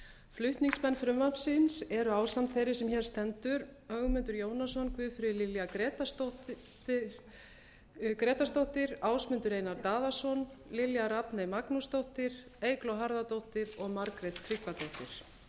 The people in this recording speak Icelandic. flutningsmenn frumvarpsins eru ásamt þeirri sem hér stendur ögmundur jónasson guðfríður lilja grétarsdóttir ásmundur einar daðason lilja rafney magnúsdóttir eygló harðardóttir og margrét tryggvadóttir